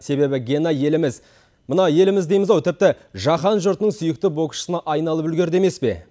себебі гена еліміз мына еліміз дейміз ау тіпті жаһан жұртының сүйікті боксшысына айналып үлгерді емес пе